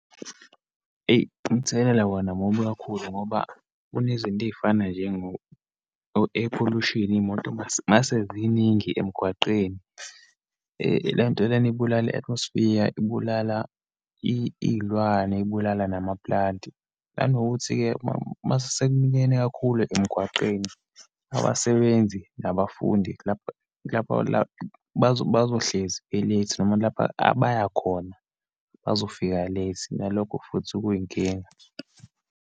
Eyi, umthelela wona mubi kakhulu ngoba kunezinto eyifana njengo-air pollution, iyimoto uma uma seziningi emgwaqeni. Le nto lena ibulala i-atmosphere, ibulala iyilwane, ibulala namapulanti. Nanokuthi-ke uma sekuminyene kakhulu emgwaqeni, abasebenzi nabafundi lapha, lapha la bazohlezi be-late, noma lapha abayakhona bazofika late, nalokho futhi kuyinkinga.